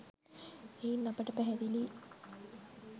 එයින් අපට පැහැදිලියි